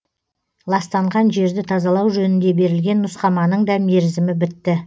ластанған жерді тазалау жөнінде берілген нұсқаманың да мерзімі бітті